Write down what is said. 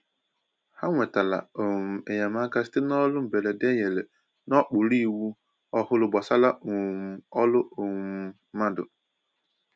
Ha nwetàrà um enyemaka site n’ọrụ mberede e nyere n’okpuru iwu ọhụrụ gbasàra um ọrụ um mmadụ